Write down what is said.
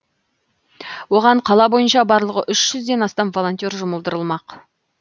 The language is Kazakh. оған қала бойынша барлығы үш жүзден астам волонтер жұмылдырылмақ